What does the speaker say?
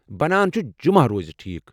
بنان چھٗ جمعہ روزِ ٹھیٖک۔